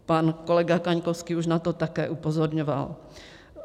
Pan kolega Kaňkovský už na to také upozorňoval.